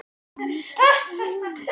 Komdu inn.